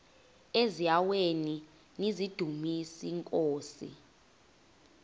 eziaweni nizidumis iinkosi